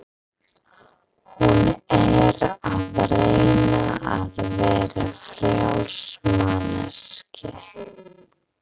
Hún er að reyna að vera frjáls manneskja.